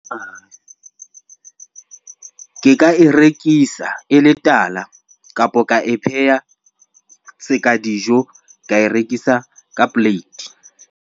Ke ka e rekisa e le tala kapo ka e pheha seka dijo, ka e rekisa ka plate.